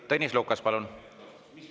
Tõnis Lukas, palun!